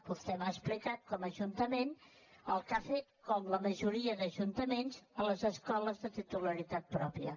vostè m’ha explicat com a ajuntament el que ha fet com la majoria d’ajuntaments a les escoles de titularitat pròpia